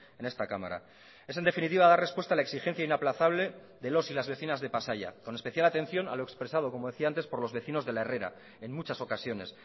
en esta cámara es en definitiva dar respuesta a la exigencia inaplazable de los y las vecinas de pasaia con especial atención a lo expresado como decía antes por los vecinos de la herrera en muchas ocasiones